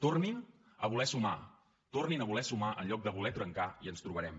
tornin a voler sumar tornin a voler sumar en lloc de voler trencar i ens trobarem